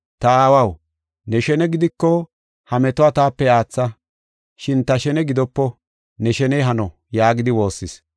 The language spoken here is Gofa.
“Ta aawaw, ne shene gidiko ha metuwa taape aatha. Shin ta shene gidopo ne sheney hano” yaagidi woossis.